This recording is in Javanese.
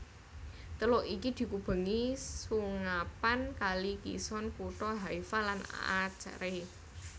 Teluk iki dikubengi sungapan Kali Kishon kutha Haifa lan Acre